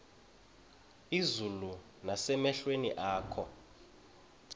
izulu nasemehlweni akho